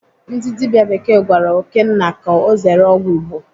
Ndị dibịa bekee gwara Okénna ka ọ zere ọgwụ Igbo.